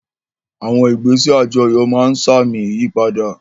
Àwọn ìgbésẹ̀ àjọyọ̀ máa ń sa àmì ìyípadà